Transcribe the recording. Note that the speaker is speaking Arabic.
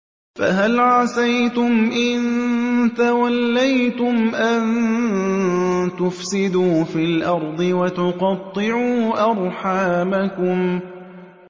فَهَلْ عَسَيْتُمْ إِن تَوَلَّيْتُمْ أَن تُفْسِدُوا فِي الْأَرْضِ وَتُقَطِّعُوا أَرْحَامَكُمْ